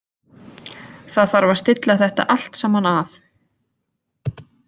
Það þarf að stilla þetta allt saman af.